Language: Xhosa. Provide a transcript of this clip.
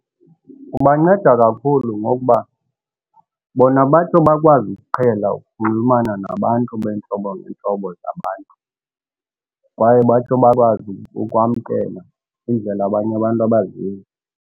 Kubanceda kakhulu ngokuba bona batsho bakwazi ukuqhela ukunxulumana nabantu ngeentlobo ntlobo zabantu kwaye batsho bakwazi ukwamkela indlela abanye abantu abazizo.